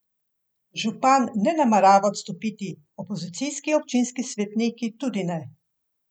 Župan ne namerava odstopiti, opozicijski občinski svetniki tudi ne.